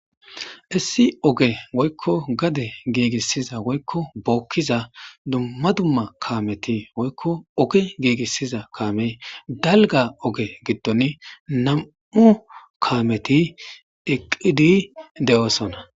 Isi oge woykko gade giigissiza woykko bookkiza dumma dumma kaameti woykko ogi giigissiza kaamey dalga oge giddon nam7u kaameti eqqidi de7oosona